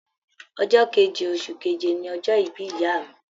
Ọjọ́ keje oṣù keje ní ọjọ́ ìbí ìyá mi.